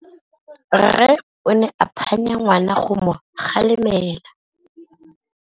Rre o ne a phanya ngwana go mo galemela.